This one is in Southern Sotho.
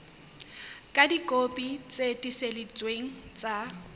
ka dikopi tse tiiseleditsweng tsa